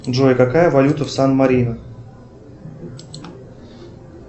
джой какая валюта в сан марино